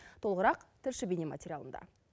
толығырақ тілші бейне материалында